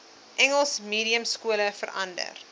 engels mediumskole verander